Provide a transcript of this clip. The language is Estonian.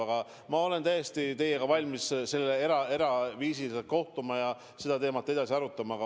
Aga ma olen täiesti valmis teiega eraviisiliselt kohtuma ja seda teemat edasi arutama.